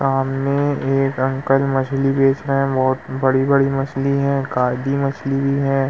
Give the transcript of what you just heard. सामने एक अंकल मछली बेच रहे हैं। बहोत बड़ी-बड़ी मछली हैं। एक आधी मछली भी है।